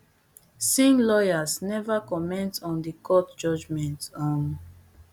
singh lawyers neva comment on di court judgement um